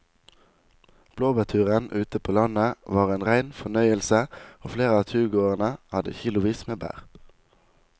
Blåbærturen ute på landet var en rein fornøyelse og flere av turgåerene hadde kilosvis med bær.